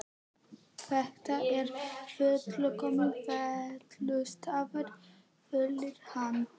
Þetta er fullkominn felustaður, fullyrti hann.